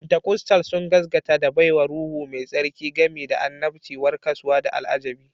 Pentikostal sun gaskanta da baiwar Ruhu Mai Tsarki, gami da annabci, warkaswa, da al'ajibi